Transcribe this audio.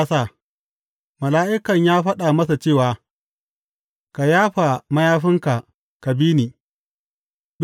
Mala’ikan ya faɗa masa cewa, Ka yafa mayafinka ka bi ni.